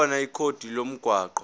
khona ikhodi lomgwaqo